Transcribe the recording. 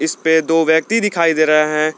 इसपे दो व्यक्ति दिखाई दे रहे हैं।